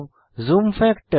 zoom factor